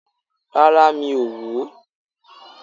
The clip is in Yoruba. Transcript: Rárá, mi ò wò ó